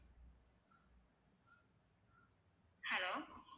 hello